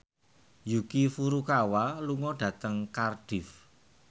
Yuki Furukawa lunga dhateng Cardiff